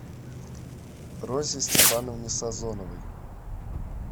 розе степановне сазоновой